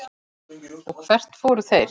Og hvert fóru þeir?